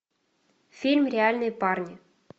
фильм реальные парни